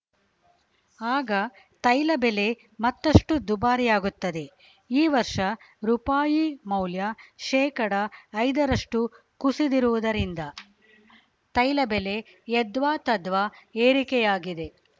ಆಗ ತೈಲ ಬೆಲೆ ಮತ್ತಷ್ಟುದುಬಾರಿಯಾಗುತ್ತದೆ ಈ ವರ್ಷ ರುಪಾಯಿ ಮೌಲ್ಯ ಶೇಕಡಾ ಐದರಷ್ಟು ಕುಸಿದಿರುವುದರಿಂದ ತೈಲ ಬೆಲೆ ಯದ್ವಾತದ್ವಾ ಏರಿಕೆಯಾಗಿದೆ